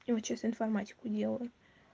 я вот сейчас информатику делаю